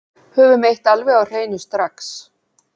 Höfum eitt alveg á hreinu strax